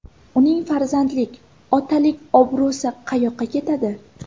Uning farzandlik, otalik obro‘si qayoqqa ketadi?